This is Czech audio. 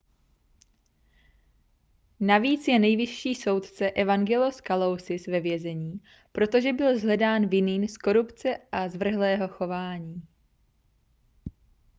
navíc je nejvyšší soudce evangelos kalousis ve vězení protože byl shledán vinným z korupce a zvrhlého chování